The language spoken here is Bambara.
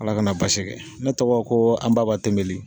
Ala kana basi kɛ ne tɔgɔ ko anbaba tenbeli